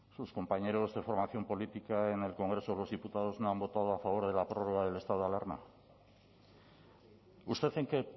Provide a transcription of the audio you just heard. sus compañeros de formación política en el congreso de los diputados no han votado a favor de la prórroga del estado de alarma usted en qué